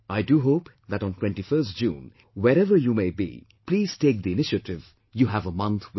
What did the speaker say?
I do hope that on 21st June, wherever you may be, please take the initiative; you have a month with you